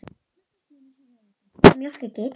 Magnús Hlynur Hreiðarsson: Þú ert að mjólka geiturnar?